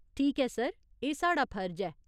ठीक ऐ सर, एह् साढ़ा फर्ज ऐ।